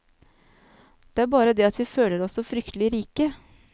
Det er bare det at vi føler oss så fryktelig rike.